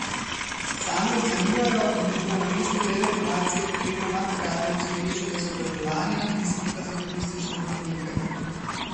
Sami ocenjujejo, da bi bila namesto deregulacije potrebna nadgradnja obstoječega izobraževanja in izpita za turistične vodnike.